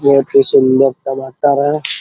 बहुत ही सुन्दर टमाटर है ।